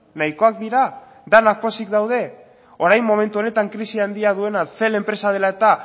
nahikoak dira denak pozik daude orain momentu honetan krisi handia duena cel enpresa dela eta